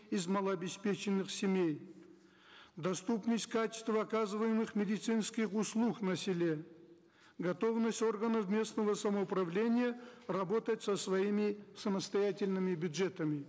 из малообеспеченных семей доступность качества оказываемых медицинских услуг на селе готовность органов местного самоуправления работать со своими самостоятельными бюджетами